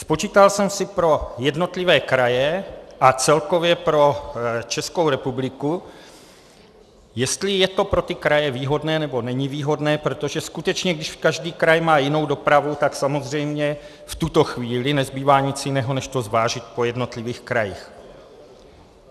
Spočítal jsem si pro jednotlivé kraje a celkově pro Českou republiku, jestli je to pro ty kraje výhodné, nebo není výhodné, protože skutečně když každý kraj má jinou dopravu, tak samozřejmě v tuto chvíli nezbývá nic jiného, než to zvážit po jednotlivých krajích.